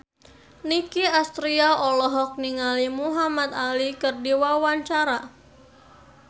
Nicky Astria olohok ningali Muhamad Ali keur diwawancara